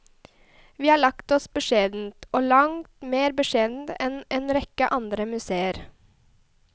Vi har lagt oss beskjedent, og langt mer beskjedent enn en rekke andre museer.